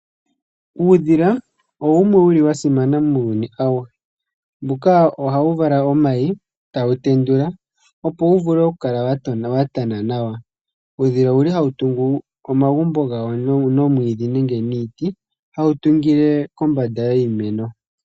Uudhila owumwe wuli wa simana muuyuni awuhe. Mbuka ohawu vala omayi etawu tendula, opo wu vule oku kala wa tana nawa. Uudhila owuli hawu tungu omagumbo gawo nomwiidhi nenge niiti, hawu tungile kombada yiimeno.